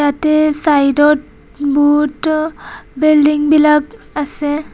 ইয়াতে চাইডত বহুত বিল্ডিংবিলাক আছে।